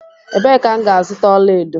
Ebe ka m ga azuta ọla edo?